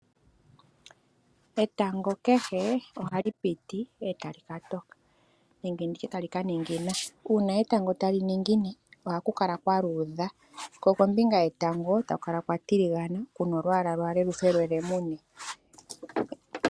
Etango kehe ohali piti e tali ka toka nenge nditye tali ka ningina. Uuna etango tali ningine ohaku kala kwa luudha , ko kombinga yetango taku kala kwatiligana kuna olwaala lwaale lufe lwe lemune.